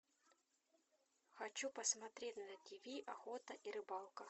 хочу посмотреть на тиви охота и рыбалка